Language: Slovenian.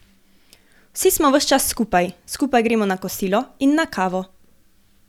Vsi smo ves čas skupaj, skupaj gremo na kosilo in na kavo.